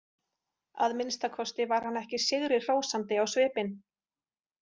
Að minnsta kosti var hann ekki sigrihrósandi á svipinn.